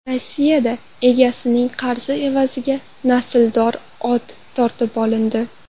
Rossiyada egasining qarzi evaziga nasldor ot tortib olindi.